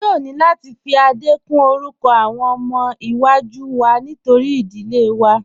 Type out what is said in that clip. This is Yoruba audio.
A yóò ni láti fi Adé kún orúkọ awọn ọmọ iwa-jú wá nítorí idílé wá.